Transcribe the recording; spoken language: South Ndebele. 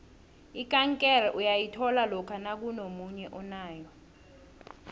ikankere uyayithola lokha nakunomunye onayo